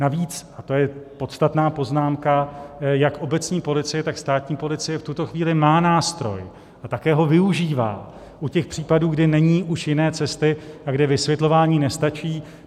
Navíc - a to je podstatná poznámka - jak obecní policie, tak státní policie v tuto chvíli má nástroj a také ho využívá u těch případů, kde není už jiné cesty a kde vysvětlování nestačí.